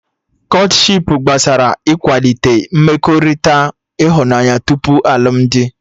Kọtshipu gbasara ikwalite mmekọrịta ịhụnanya tupu alụmdi